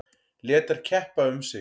Lét þær keppa um sig.